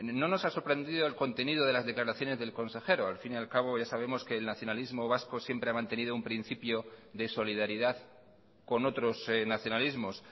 no nos ha sorprendido el contenido de las declaraciones del consejero al fin y al cabo ya sabemos que el nacionalismo vasco siempre ha mantenido un principio de solidaridad con otros nacionalismos